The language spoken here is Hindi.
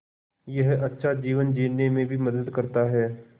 यह अच्छा जीवन जीने में भी मदद करता है